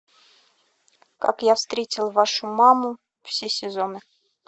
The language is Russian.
как я встретил вашу маму все сезоны